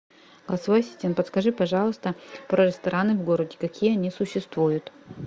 голосовой ассистент подскажи пожалуйста про рестораны в городе какие они существуют